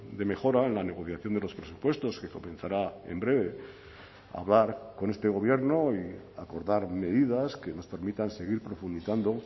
de mejora en la negociación de los presupuestos que comenzará en breve a hablar con este gobierno y acordar medidas que nos permitan seguir profundizando